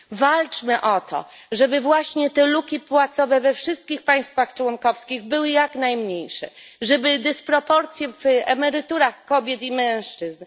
Walczmy o to, żeby właśnie te luki płacowe we wszystkich państwach członkowskich były jak najmniejsze, żeby jak najmniejsze były dysproporcje w emeryturach kobiet i mężczyzn.